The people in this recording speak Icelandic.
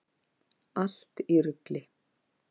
Allt í rugli!